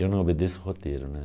Eu não obedeço roteiro, né?